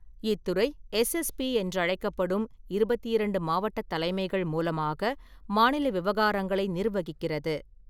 இத்துறை எஸ்எஸ்பி என்றழைக்கப்படும் இருபத்தி இரண்டு மாவட்டத் தலைமைகள் மூலமாக மாநில விவகாரங்களை நிர்வகிக்கிறது.